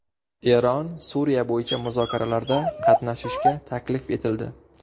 Eron Suriya bo‘yicha muzokaralarda qatnashishga taklif etildi.